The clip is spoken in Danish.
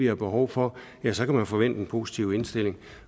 har behov for ja så kan man forvente en positiv indstilling